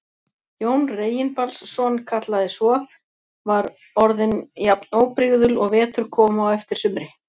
Jón Reginbaldsson kallaði svo, var orðin jafn óbrigðul og vetur kom á eftir sumri.